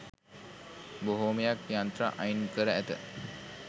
බොහොමයක් යන්ත්‍ර අයින්කර ඇත